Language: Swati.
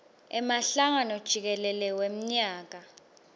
emhlangano jikelele wemnyaka